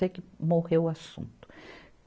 Sei que morreu o assunto.